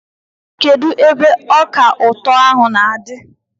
Kedụ ebe ọka ụtọ ahụ na-adị?